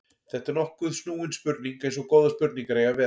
Þetta er nokkuð snúin spurning eins og góðar spurningar eiga að vera.